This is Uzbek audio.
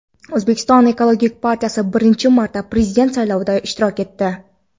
O‘zbekiston ekologik partiyasi birinchi marta prezident saylovida ishtirok etdi.